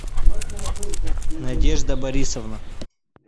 надежда борисовна